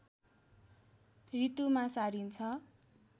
ऋतुमा सारिन्छ